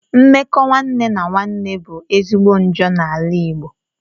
Mmekọ nwanne na nwanne bu ezigbo njọ na ala igbo